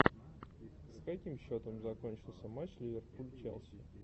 с каким счетом закончился матч ливерпуль челси